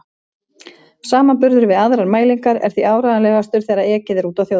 Samanburður við aðrar mælingar er því áreiðanlegastur þegar ekið er úti á þjóðvegi.